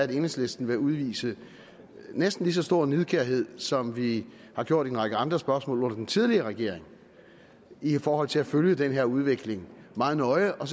enhedslisten vil udvise næsten lige så stor nidkærhed som vi har gjort i en række andre spørgsmål under den tidligere regering i forhold til at følge den her udvikling meget nøje og